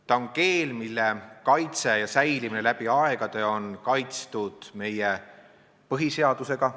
Ta on keel, mille säilimine läbi aegade on kaitstud meie põhiseadusega.